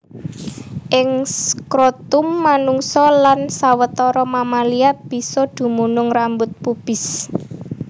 Ing skrotum manungsa lan sawetara mamalia bisa dumunung rambut pubis